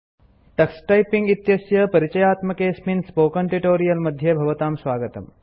Tux Typing Tux Typing इत्यस्य परिचयात्मकेऽस्मिन् spoken tutorial मध्ये भवते स्वागतम्